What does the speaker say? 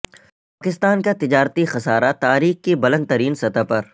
پاکستان کا تجارتی خسارہ تاریخ کی بلند ترین سطح پر